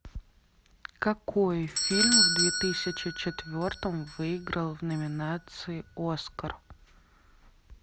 какой фильм в две тысячи четвертом выиграл в номинации оскар